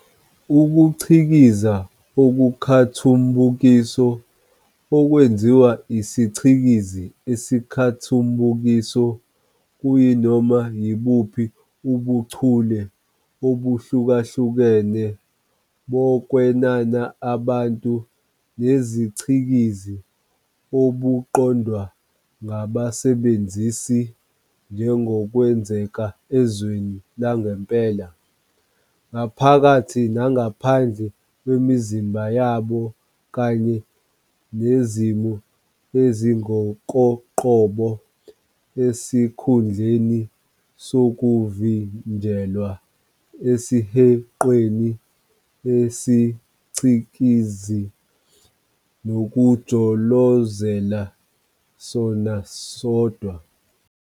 Ukucikiza okukhathumbukiso, okwenziwa isiCikizi esikhathumbukiso, kuyinoma yibuphi ubuchule obuhlukahlukene bokwenana abantu nezicikizi obuqondwa ngabasebenzisi njengokwenzeka ezweni langempela, ngaphakathi nangaphandle kwemizimba yabo kanye nezimo ezingokoqobo, esikhundleni sokuvinjelwa esihenqweni sesicikizi nokujolozela sona sodwa.